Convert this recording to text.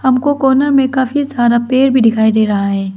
हमको कॉर्नर में काफी सारा पेड़ भी दिखाई दे रहा है।